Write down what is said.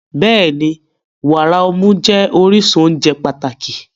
Bẹ́ẹ̀ni, wàrà ọmú jẹ́ orísun oúnjẹ pàtàkì.